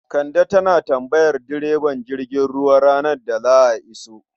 Kande tana tambayar direban jirgin ruwa ranar da za a iso.